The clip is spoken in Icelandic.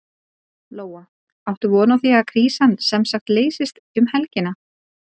Lóa: Áttu von á því að krísan semsagt leysist um helgina?